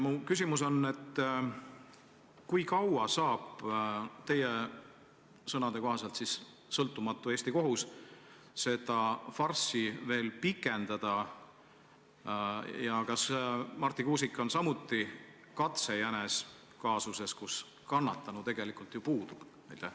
Mu küsimus on: kui kaua saab teie sõnade kohaselt sõltumatu Eesti kohus seda farssi veel pikendada ja kas Marti Kuusik on samuti katsejänes kaasuses, kus kannatanu tegelikult ju puudub?